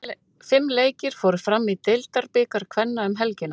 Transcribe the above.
Fimm leikir fóru fram í deildabikar kvenna um helgina.